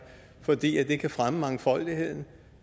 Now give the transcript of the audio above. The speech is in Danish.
fordi det kan fremme mangfoldigheden